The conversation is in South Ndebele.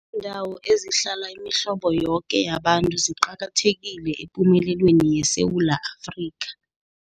Iindawo Ezihlala Imihlobo Yoke Yabantu Ziqakathekile Epumelelweni YeSewula Afrika